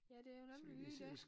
Ja det jo nemlig lige dét